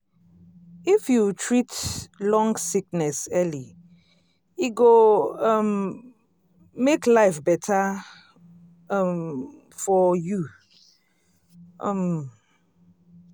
if you treat long sickness early e go um make life better um for you. um